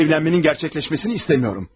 Mən bu evlənmənin gerçəkləşməsini istemiyorum.